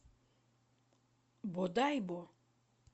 бодайбо